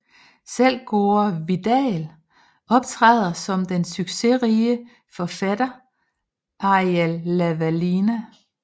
Selv Gore Vidal optræder som den succesrige forfatter Arial Lavalina